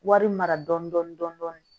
Wari mara dɔɔnin dɔɔnin